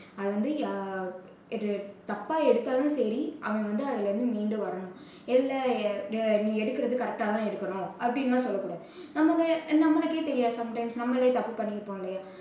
அது வந்து இது தப்பா எடுத்தாலும் சரி அவன் வந்த அதுலருந்து மீண்டு வரணும். இல்ல நீ எடுக்கறது correct டா தான் எடுக்கணும் அப்படியெல்லாம் சொல்லக்கூடாது. நம்மளே நம்மளுக்கே தெரியும் sometimes நம்மளே தப்பு பண்ணிருப்போம் இல்லயா